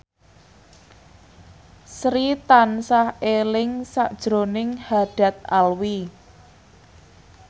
Sri tansah eling sakjroning Haddad Alwi